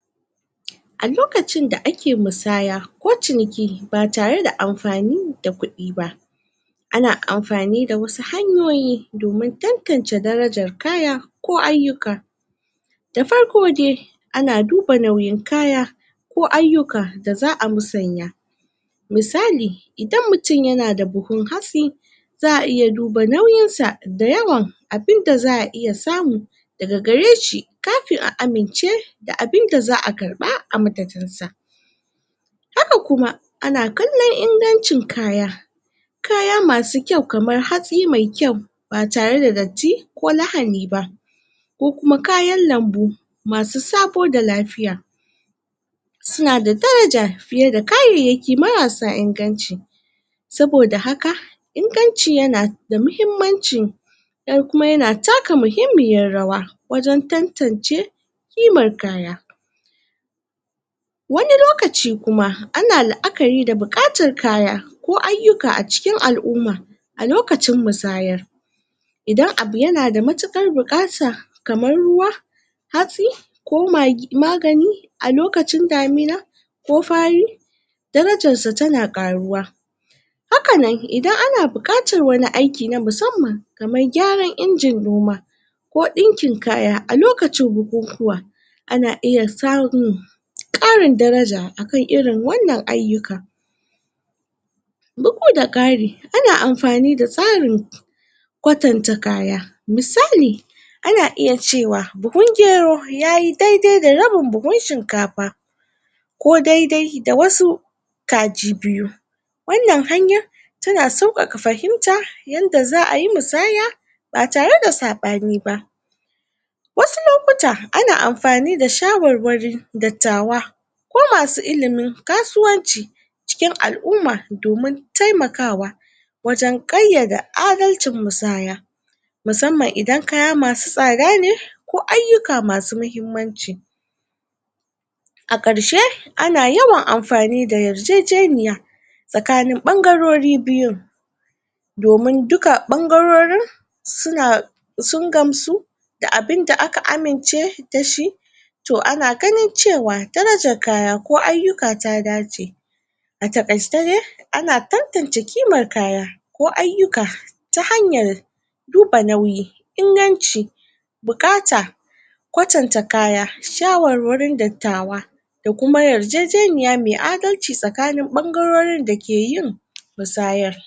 ? a lokacin da ake musaya ko ciniki ba tare da amfani da kuɗi ba ana amfani da wasu hanyoyi domin tantance darajar kaya ko ayyuka da farko de ana duba nauyin kaya ko ayyuka da za'a musanya misali idan mutun yana da buhun hatsi za'a iya duba nauyinsa da yawan abinda za'a iya samu daga gareshi kafin a amince da abinda za'a karɓa a madadinsa haka kuma ana kallon ingancin kaya kaya masu kyau kamar hatsi mai kyau ba tare da datti ko lahani ba ko kuma kayan lambu masu sabo da lafiya suna da daraja fiye da kayayyaki marasa inganci saboda haka inganci yana da mahimmanci sannan kuma yana taka mahimmiyan rawa wajen tantance ƙimar kaya wani lokaci kuma ana la'akari da buƙatar kaya ko ayyuka a cikin al'uma a lokacin musayar idan abu yana da matuƙar buƙata kamar ruwa hatsi ko magi magani a lokacin damina ko fari darajarsa tana ƙaruwa hakanan idan ana buƙatar wani aiki na musamman kamar gyaran injin noma ko ɗinkin kaya a lokacin bukukuwa ana iya samun ƙarin daraja akan irin wannan ayyuka bugu da ƙari ana amafani da tsarin kwatanta kaya misali ana iya cewa buhun gero yayi daidai da rabin buhun shinkafa ko daidai da wasu kaji biyu wannan hanya tana sauƙaƙa fahimta yanda za'ayi musaya ba tare da saɓani ba wasu lokuta ana amfani da shawarwarin dattawa ko masu ilimin kasuwanci cikin al'uma domin taimakawa wajen ƙayyade adalcin musaya musamman idan kaya masu tsada ne ko ayyuka masu muhimmanci a ƙarshe ana yawan amfani da yarjejeniya tsakanin ɓangarori biyu domin duka ɓangarorin suna sun gamsu da abinda aka amince dashi to ana ganin cewa darajar kaya ko ayyuka ta dace a taƙaice dai ana tantance kimar kaya ko ayyuka ta hanyar duba nauyi inganci buƙata kwatanta kaya shawarwarin dattawa da kuma yarjejeniya mai adalci tsakanin ɓangarorin dake yin? musayar